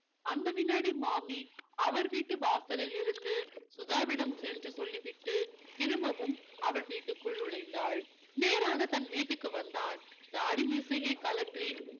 அந்த வினாடி மாமி அவர் வீட்டு வாசலில் இருந்து சுதாவிடம் சென்று சொல்லிவிட்டு திரும்பவும் அவள் வீட்டுக்குள் நுழைந்தாள் நேராக தன் வீட்டிற்கு வந்தான் தாடி மீசையை கழற்றி